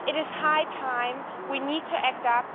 It is high time, we need to step up.